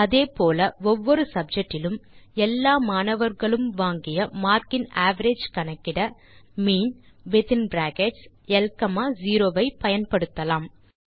அதே போல ஒவ்வொரு சப்ஜெக்ட் இலும் எல்லா மாணவர்களும் வாங்கிய மார்க்கின் அவரேஜ் கணக்கிட மீன் வித்தின் பிராக்கெட்ஸ் ல் காமா 0 ஐ பயன்படுத்தலாம்